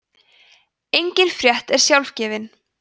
engin frétt er sjálfgefin